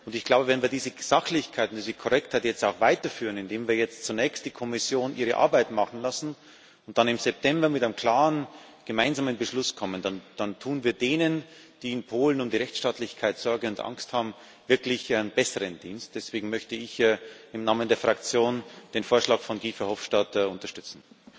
Ich glaube, wenn wir diese Sachlichkeit, diese Korrektheit jetzt auch weiter führen, indem wir jetzt zunächst die Kommission ihre Arbeit machen lassen und dann im September mit einem klaren gemeinsamen Beschluss kommen, dann tun wir denen, die in Polen um die Rechtsstaatlichkeit Sorge und Angst haben, wirklich einen besseren Dienst. Deswegen möchte ich im Namen der Fraktion den Vorschlag von Guy Verhofstadt unterstützen.